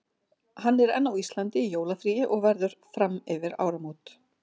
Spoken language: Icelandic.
Hann er enn á Íslandi í jólafríi og verður fram yfir áramót.